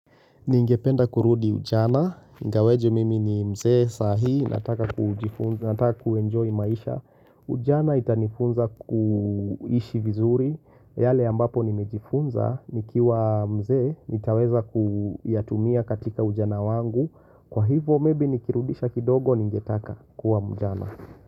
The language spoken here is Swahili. Ningependa kurudi ujana. Ingawaje mimi ni mzee saahi. Nataka kuenjoy maisha. Ujana itanifunza kuishi vizuri. Yale ambapo nimejifunza nikiwa mzee nitaweza kuyatumia katika ujana wangu. Kwa hivyo maybe nikirudisha kidogo ningetaka kuwa mjana.